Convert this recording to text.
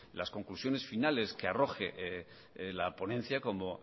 las conclusiones finales que arroje la ponencia como